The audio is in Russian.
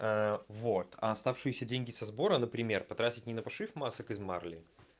ээ вот а оставшиеся деньги со сбора например потратить не на пошив масок из марли